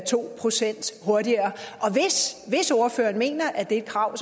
to procent hurtigere hvis ordføreren mener at det er et krav